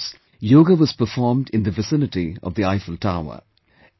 In France, yoga was performed in the vicinity of the Eiffel Tower